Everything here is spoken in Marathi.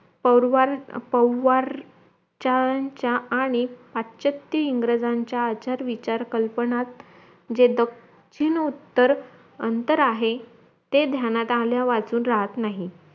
पौवर पौवार्च्यांच्या आणी पाश्च्यात इंग्रज्यांच्या आचार विचार कल्पनात जे दक्षिण उत्तर अंतर आहे ते ध्यानात आल्यावाचून राहात नाही